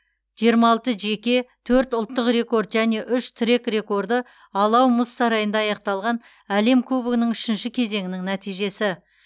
жиырма алты жеке төрт ұлттық рекорд және үш трек рекорды алау мұз сарайында аяқталған әлем кубогының үшінші кезеңінің нәтижесі